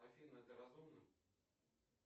афина ты разумна